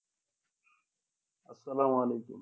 আসসালামু আলাইকুম